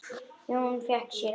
Jón fékk sér ávöxt.